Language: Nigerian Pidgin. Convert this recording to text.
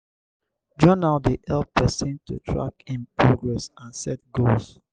journal dey help pesin to track im progress and set goals.